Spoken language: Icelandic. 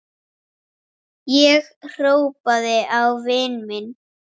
Ég horfði á vini mína.